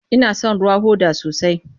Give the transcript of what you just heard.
Ina son ruwan hoda sosai.